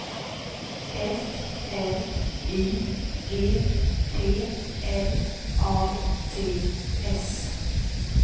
F L Y G P L A T S